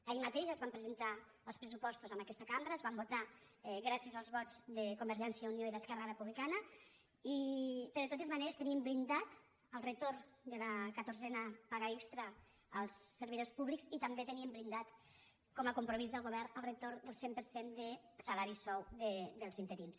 ahir mateix es van presentar els pressupostos en aquesta cambra es van votar gràcies als vots de convergència i unió i d’esquerra republicana però de totes maneres teníem blindat el retorn de la catorzena paga extra als servidors públics i també teníem blindat com a compromís del govern el retorn del cent per cent de salari sou dels interins